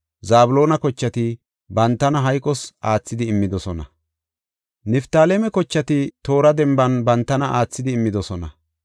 Zabloona kochati, bantana hayqos aathidi immidosona. Niftaaleme kochati, toora denban bantana aathidi immidosona.